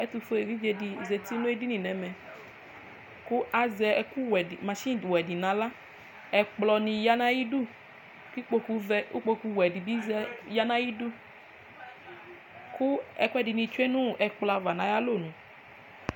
Ɛtufue evidze di zeti nʋ edini nʋ ɛmɛ kʋ azɛ mashiniwɛ di nʋ aɣla ɛkplɔni yanʋ ayidʋ kʋ ikpokʋwɛ dibi yanʋ ayidʋkʋ ɛkʋɛdini tsue nʋ ɛkplɔ ava nʋ ayʋ alɔnʋ